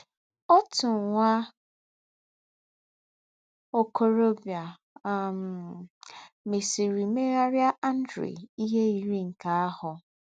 Ōtụ́ nwạ́ ọ̀kòròbìà um mésìrì mèghárị́ Àndréà íhè yírì̄ nkè àhụ́.